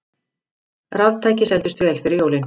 Raftæki seldust vel fyrir jólin